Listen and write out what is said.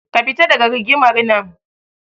Ka fita daga rigimar nan.